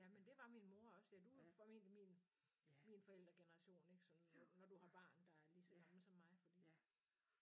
Jamen det var min mor også ja du er jo formentlig min min forældregeneration ik sådan når du har barn der er lige så gammel som mig fordi